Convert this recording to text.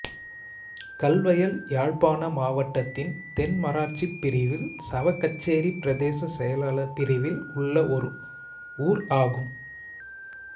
கல்வயல் யாழ்ப்பாண மாவட்டத்தின் தென்மராட்சிப் பிரிவில் சாவகச்சேரி பிரதேச செயலாளர் பிரிவில் உள்ள ஒரு ஊர் ஆகும்